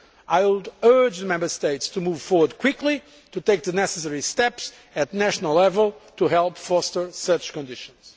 I would urge the Member States to move forward quickly and take the necessary steps at national level to help foster such conditions.